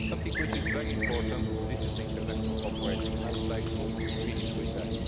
Something which is very important is international cooperation, and I would like to finish with that.